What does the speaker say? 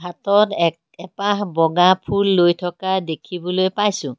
ফটোত এক এপাহ বগা ফুল লৈ থকা দেখিবলৈ পাইছোঁ।